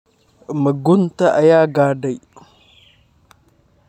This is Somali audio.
Ma gunta ayuu gaadhay?